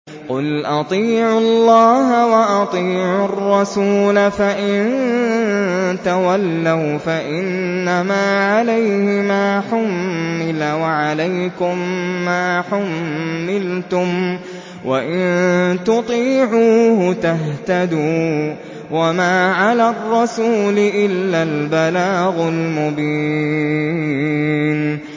قُلْ أَطِيعُوا اللَّهَ وَأَطِيعُوا الرَّسُولَ ۖ فَإِن تَوَلَّوْا فَإِنَّمَا عَلَيْهِ مَا حُمِّلَ وَعَلَيْكُم مَّا حُمِّلْتُمْ ۖ وَإِن تُطِيعُوهُ تَهْتَدُوا ۚ وَمَا عَلَى الرَّسُولِ إِلَّا الْبَلَاغُ الْمُبِينُ